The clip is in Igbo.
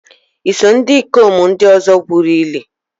Iso ndikom ndi ozo gwuru ili?